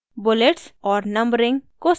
bullets और numbering को सक्रिय करें